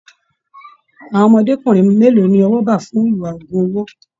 Àwọn ọmọdékunrin mélòó ní ọwọ bá fún ìwà ogún owó?